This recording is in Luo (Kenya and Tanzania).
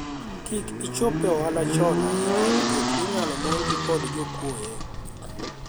kik ichop e ohala chon ahinya nikech inyalo monji kod jokuoye